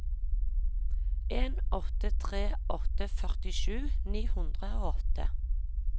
en åtte tre åtte førtisju ni hundre og åtte